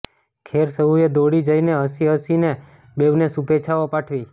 ખેર સહુએ દોડી જઈને હસી હસીને બેઉને શુભેચ્છાઓ પાઠવી